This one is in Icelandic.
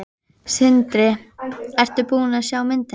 Sindri: Ertu búin að sjá myndina?